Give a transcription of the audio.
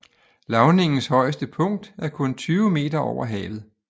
Lavningens højeste punkt er kun 20 moh